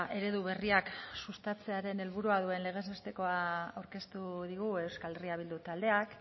eredu berriak sustatzearen helburua duen legez bestekoa aurkeztu digu euskal herria bildu taldeak